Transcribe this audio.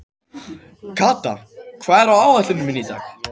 Kata, hvað er á áætluninni minni í dag?